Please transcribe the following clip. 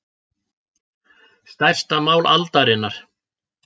Stærsta mál aldarinnar